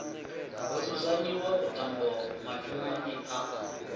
ho dzudzanyiwa vhuṱambo mathomoni a